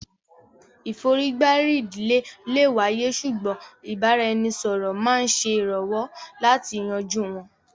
ìforígbárí ìdílé lè wáyé ṣùgbọ́n ìbára-ẹni-sọ̀rọ̀ máa ń ṣèrànwọ́ láti yanjú wọn